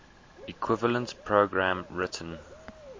equivalent program written